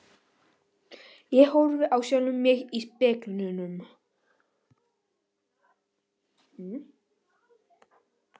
Ég horfi á sjálfan mig í speglinum.